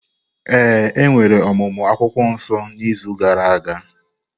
Ee, e nwere ọmụmụ akwukwuo nso n’izu gara aga.